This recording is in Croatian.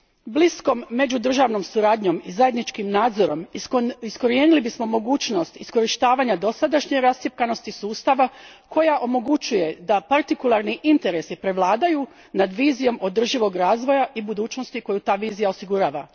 Bliskom međudržavnom suradnjom i zajedničkim nadzorom iskorijenili bismo mogućnost iskorištavanja dosadašnje rascjepkanosti sustava koja omogućuje da partikularni interesi prevladaju nad vizijom održivog razvoja i budućnosti koju ta vizija osigurava.